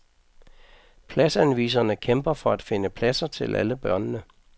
Pladsanviserne kæmper for at finde pladser til alle børnene.